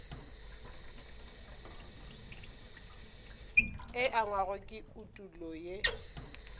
e angwago ke etulo ye